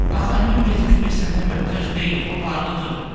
Axı əmim 75 sentə möhtac deyil, o varlıdır.